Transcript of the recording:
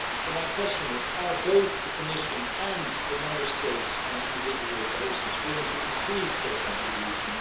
So my question is to ask whether both the Commission and the Member States, on an individual basis, are willing to increase their contribution.